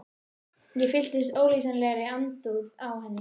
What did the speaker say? Ég fylltist ólýsanlegri andúð á henni.